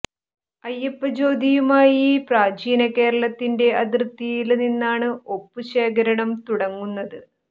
അയ്യപ്പ ജ്യോതിയുമായി പ്രാചീന കേരളത്തിന്റെ അതിര്ത്തിയില് നിന്നാണ് ഒപ്പു ശേഖരണം തുടങ്ങുന്നത്